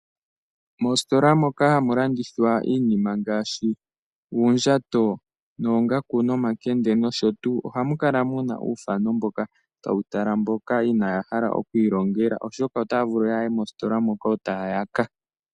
Moositola moka hamu landithwa iinima ngashi oondjato, omakende nosho tuu. Ohamu kala muna uuthano mboka hawu tala mboka inaya hala okwiilongela oshoka otaya vulu okuya mositola moka eta ya yaka.